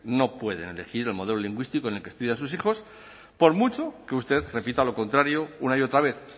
no pueden elegir el modelo lingüístico en el que estudian sus hijos por mucho que usted repita lo contrario una y otra vez